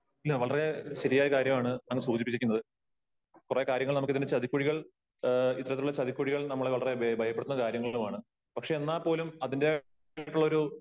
വളരെ ശരിയായ കാര്യമാണ് അങ്ങ് സൂചിപ്പിച്ചിരിക്കുന്നത് .കുറെ കാര്യങ്ങൾ നമുക്ക് ഇതിന്റെ ചതിക്കുഴികൾ ഇത്തരത്തിലുള്ള ചതിക്കുഴികൾ നമ്മളെ വളരെ ഭയപ്പെടുത്തുന്ന കാര്യങ്ങളുമാണ് . പക്ഷേ എന്നാൽ പോലും അതിന്റെ ഒരു